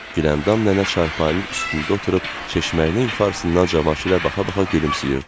Güləndam nənə çarpayının üstündə oturub çeşməyinin yuxarısından Cavanşirə baxa-baxa gülümsəyirdi.